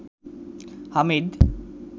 Hamid